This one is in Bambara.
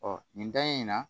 nin da in na